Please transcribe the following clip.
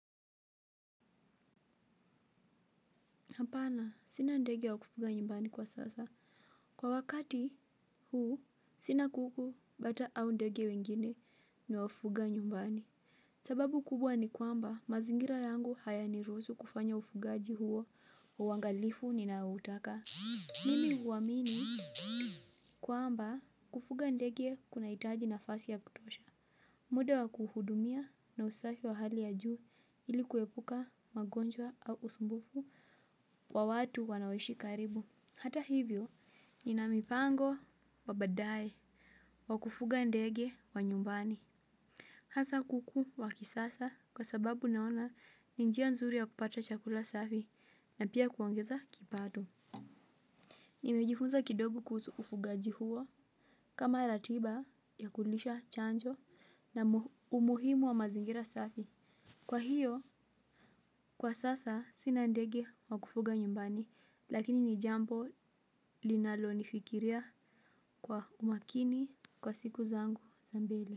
Hapana, sina ndege wa kufuga nyumbani kwa sasa. Kwa wakati huu, sina kuku bata au ndege wengine ni wafuga nyumbani. Sababu kubwa ni kwamba mazingira yangu haya niruzu kufanya ufugaaji huo wa wangalifu ninaotaka. Mimi uwamini? Kwamba, kufuga ndege kunaitaji nafasi ya kutosha. Muda wa kuhudumia na usafi wa hali ya juu ilikuwepuka magonjwa au usumbufu wa watu wanaoishi karibu. Hata hivyo nina mipango wa badae wa kufuga ndege wa nyumbani. Hasa kuku wa kisasa kwa sababu naona ni njia nzuri ya kupata chakula safi na pia kuongeza kipado. Nimejifunza kidogo kusu ufugaji huo kama ratiba ya kulisha chanjo na umuhimu wa mazingira safi. Kwa hiyo kwa sasa sina ndege wa kufuga nyumbani lakini ni jambo linalo nifikiria kwa umakini kwa siku zangu za mbeli.